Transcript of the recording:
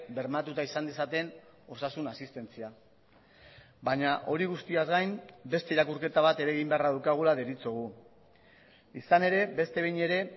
bermatuta izan dezaten osasun asistentzia baina hori guztiaz gain beste irakurketa bat ere egin beharra daukagula deritzogu izan ere beste behin ere